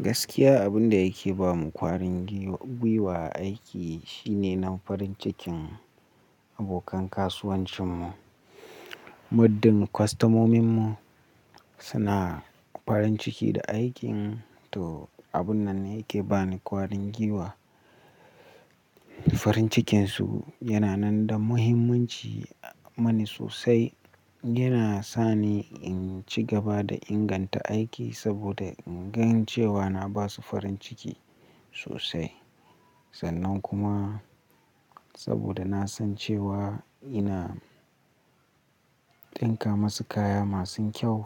Gaskiya abin da yake ba mu kwarin gwiwa aiki shine na farin cikin abokan kasuwancinmu. Muddin kostomomin mu suna farin ciki da aikin to abun nan yake bani kwarin gwiwa. Farin cikinsu yana nan da muhimmanci mani sosai. Yana sa ni in ci gaba da inganta aiki saboda in gan cewa na ba su farin ciki sosai. Sannan kuma saboda na san cewa ina ɗinka masu kaya masu kyau